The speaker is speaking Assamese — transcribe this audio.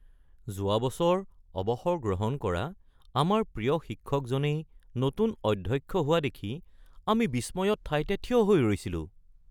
যোৱা বছৰ অৱসৰ গ্ৰহণ কৰা আমাৰ প্ৰিয় শিক্ষকজনেই নতুন অধ্যক্ষ হোৱা দেখি আমি বিস্ময়ত ঠাইতে থিয় হৈ ৰৈছিলোঁ।